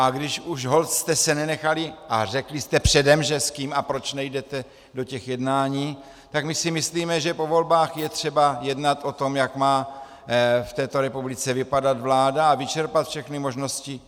A když už holt jste se nenechali a řekli jste předem, že s kým a proč nejdete do těch jednání, tak my si myslíme, že po volbách je třeba jednat o tom, jak má v této republice vypadat vláda, a vyčerpat všechny možnosti.